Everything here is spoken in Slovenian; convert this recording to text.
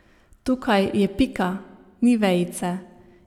Tukaj je pika, ni vejice.